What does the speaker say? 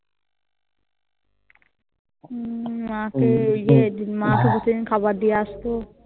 মম মা কে দিয়ে মা কে খাবার দিয়ে আস্ত